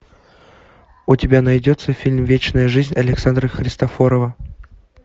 у тебя найдется фильм вечная жизнь александра христофорова